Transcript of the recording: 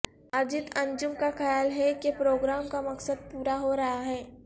اجیت انجم کا خیال ہے کہ پروگرام کا مقصد پورا ہو رہا ہے